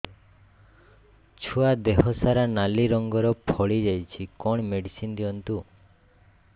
ଛୁଆ ଦେହ ସାରା ନାଲି ରଙ୍ଗର ଫଳି ଯାଇଛି କଣ ମେଡିସିନ ଦିଅନ୍ତୁ